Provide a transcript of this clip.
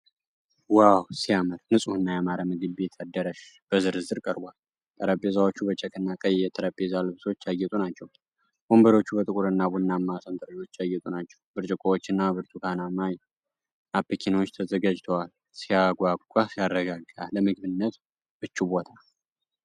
ዋው ሲያምር! ንጹህና ያማረ የምግብ ቤት አዳራሽ በዝርዝር ቀርቧል። ጠረጴዛዎቹ በቼክ እና ቀይ የጠረጴዛ ልብሶች ያጌጡ ናቸው። ወንበሮቹ በጥቁርና ቡናማ ሰንጠረዦች ያጌጡ ናቸው። ብርጭቆዎችና ብርቱካንማ ናፕኪኖች ተዘጋጅተዋል። ሲያጓጓ! ሲያረጋጋ! ለምግብነት ምቹ ቦታ!